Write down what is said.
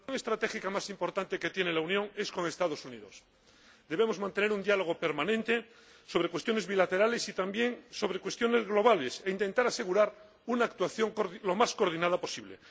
Señor Presidente, la relación estratégica más importante que tiene la Unión es con los Estados Unidos. Debemos mantener un diálogo permanente sobre cuestiones bilaterales y también sobre cuestiones globales, e intentar asegurar una actuación lo más coordinada posible.